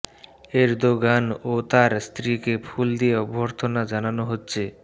Erdogan ও তার স্ত্রীকে ফুল দিয়ে অভ্যর্থনা জানানো হচ্ছে